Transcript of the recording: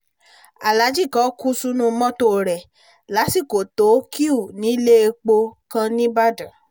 aláàjì kan kú sínú mọ́tò rẹ̀ lásìkò tó kíú nílé epo kan nìbàdàn